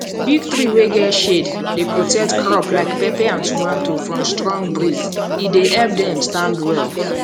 big tree wey get shade dey protect crop like pepper and tomato from strong breeze he dey help them stand well